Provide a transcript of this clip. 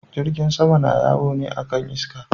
Jirgin sama na yawo ne akan iska.